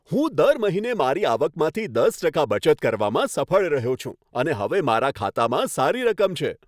હું દર મહિને મારી આવકમાંથી દસ ટકા બચત કરવામાં સફળ રહ્યો છું અને હવે મારા ખાતામાં સારી રકમ છે.